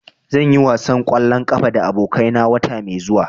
Zan yi wasan ƙwallon ƙafa da abokai na wata mai zuwa.